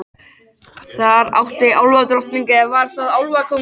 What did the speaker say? Þar átti álfadrottningin- eða var það álfakóngurinn?